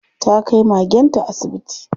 Ta kai magenta asibiti.